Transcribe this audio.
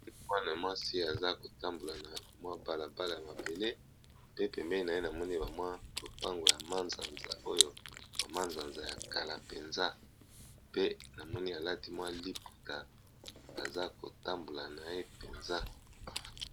mwana mwasi aza kotambola na mwa balabala ya mabele pe pembeni na ye na moni bamwa lopango ya ma-nsanza oyo bama-nsanza ya kala mpenza pe na moni alati mwa liputa aza kotambola na ye mpenza